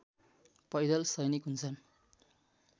पैदल सैनिक हुन्छन्